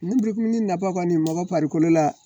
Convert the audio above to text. Ni nafa kɔni mɔgɔ farikolo la